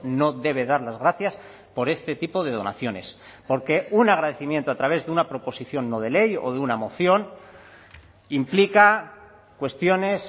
no debe dar las gracias por este tipo de donaciones porque un agradecimiento a través de una proposición no de ley o de una moción implica cuestiones